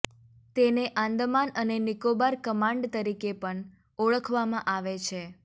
તેને આંદમાન અને નિકોબાર કમાંડ તરીકે પણ ઓળખવામાં આવે છે